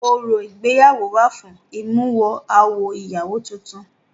Orò ìgbéyàwó wà fún ìmúwọ-awọ ìyàwó tutun.